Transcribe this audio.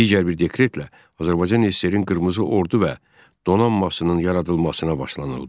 Digər bir dekretlə Azərbaycan SSR-in qırmızı ordu və donanmasının yaradılmasına başlanıldı.